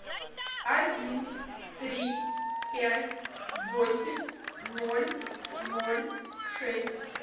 один три пять восемь ноль ноль шесть